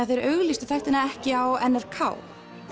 þeir auglýstu þættina ekki á n r k